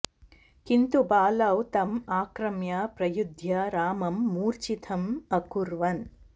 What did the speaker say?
किन्तु बालौ तम् आक्रम्य प्रयुध्य रामं मूर्छितम् अकुर्वन्